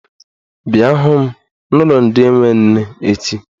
Bịa hụ m gị n'ụlọ ndị enwe nne echi!